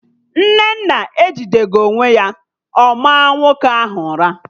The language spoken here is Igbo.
Nnenna ejideghi onwe ya, ọ maa nwoke ahụ ụra